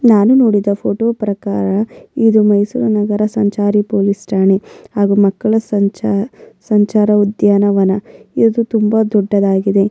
ನಾನು ನೋಡಿದ ಫೋಟೋ ಪ್ರಕಾರ ಇದು ಮೈಸೂರು ನಗರ ಸಂಚಾರಿ ಪೊಲೀಸ್ ಠಾಣೆ ಅದು ಮಕ್ಕಳ್ ಸಂಚಾರ್ ಸಂಚಾರ್ ಉದ್ಯಾನವನ ಇದು ತುಂಬಾ ದೊಡ್ಡದಾಗಿದೆ.